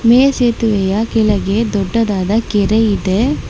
ಮೇಲ್ಸೇತುವೆಯ ಕೆಳಗೆ ದೊಡ್ಡದಾದ ಕೆರೆ ಇದೆ.